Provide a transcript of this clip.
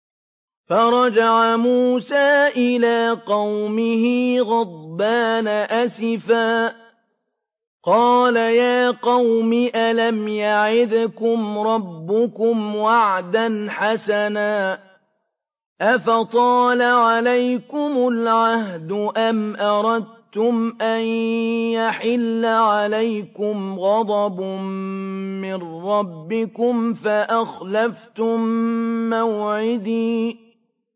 فَرَجَعَ مُوسَىٰ إِلَىٰ قَوْمِهِ غَضْبَانَ أَسِفًا ۚ قَالَ يَا قَوْمِ أَلَمْ يَعِدْكُمْ رَبُّكُمْ وَعْدًا حَسَنًا ۚ أَفَطَالَ عَلَيْكُمُ الْعَهْدُ أَمْ أَرَدتُّمْ أَن يَحِلَّ عَلَيْكُمْ غَضَبٌ مِّن رَّبِّكُمْ فَأَخْلَفْتُم مَّوْعِدِي